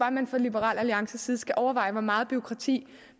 at man fra liberal alliances side skal overveje hvor meget bureaukrati